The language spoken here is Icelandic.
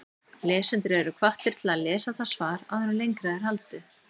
Lesendur eru hvattir til að lesa það svar áður en lengra er haldið.